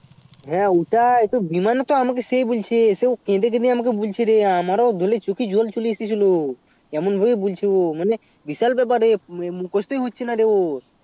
হ্যাঁ ওটাই বিমান ও তো সেই বলছে ও কেঁদে কেঁদে আমাকে বলছে আমার ও চোখে জল চলে এসেছিলো এমন ভাবে বলছিলো ও বিশাল ব্যাপার রে মুখুস্ত হচ্ছে না ওর